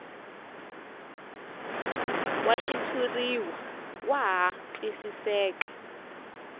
wa xitshuriwa wa ha twisiseka